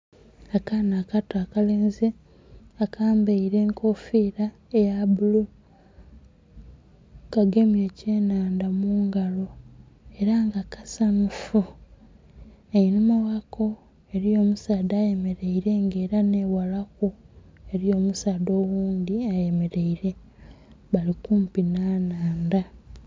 Akaana akato akalenzi akambaire ekofira eya bulu kagemye ekye nnhandha mungalo era nga kasanhufu, einhuma ghako eriyo omusaadha ayemereire nga era nhe ghalaku eriyo omusaadha oghundhi eyemereire bali kumpi nha nhandha.